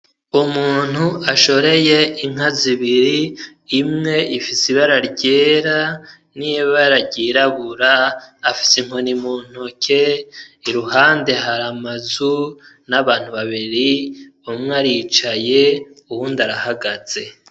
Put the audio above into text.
Umuntu ashoreye inka zibiri imwe ifise ibara ryera n'ibara ryirabura afise inkoni mu ntoke iruhande hari amazu n'abantu babiri umwe aricaye uwundi arahagaze.